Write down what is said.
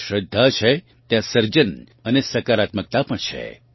જ્યાં શ્રદ્ધા છે ત્યાં સર્જન અને સકારાત્મકતા પણ છે